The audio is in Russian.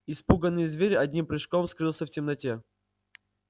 испуганный зверь одним прыжком скрылся в темноте